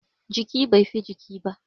Jiki, bai fi jiki ba